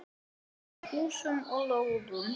Kort af húsum og lóðum.